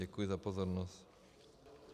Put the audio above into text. Děkuji za pozornost.